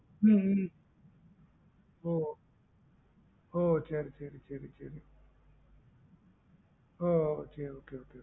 உம் உம் oh oh சேரிசேரிசேரி சேர oh okay okay okay